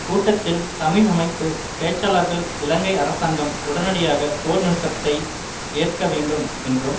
கூட்டத்தில் தமிழ் அமைப்பு பேச்சாளர்கள் இலங்கை அரசாங்கம் உடனடியாக போர்நிறுத்தத்தை ஏற்க வேண்டும் என்றும்